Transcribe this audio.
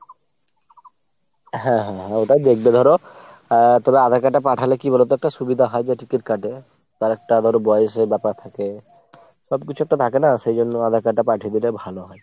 হ্যাঁ হ্যাঁ হ্যাঁ। ওটাও দেখবে ধরো। আহ তবে আঁধার card টা পাঠালে কি বলোতো একটা সুবিধা হয় যে ticket কাটে। তার একটা ধরো বয়সের ব্যাপার থাকে। সব কিছু একটা থাকে না সেই জন্য আঁধার card টা পাঠিয়ে দিলে ভালো হয়।